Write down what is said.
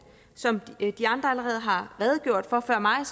som de andre allerede har redegjort for før mig